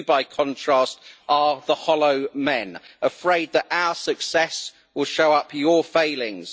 You, by contrast, are the hollow men, afraid that our success will show up your failings.